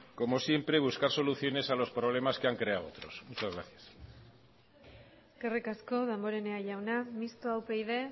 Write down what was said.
como siempre buscar soluciones a los problemas que han creado otros muchas gracias eskerrik asko damborenea jauna mistoa upyd